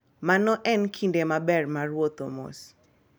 Mano en kinde maber mar wuotho mos.